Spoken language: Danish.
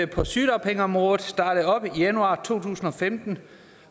på sygedagpengeområdet startede op i januar to tusind og femten